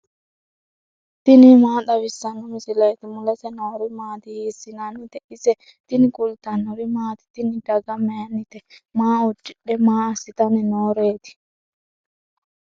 tini maa xawissanno misileeti ? mulese noori maati ? hiissinannite ise ? tini kultannori maati? Tinni daga mayinitte? maa udidhe? maa assitanni nooreti?